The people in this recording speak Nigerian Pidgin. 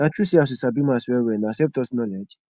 na true say as you sabi maths well well na selftaught knowledge